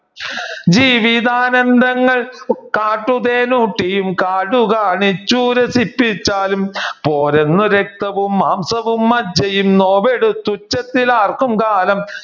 ജീവിതാനന്ദങ്ങൾ കാട്ടുതേൻ ഊട്ടിയും കാടു കാണിച്ചു രസിപ്പിച്ചാലും പോരെന്നു രക്തവും മാംസവും മജ്ജയും നോവെടുത്തു ഉച്ചത്തിൽ ആർക്കും കാലം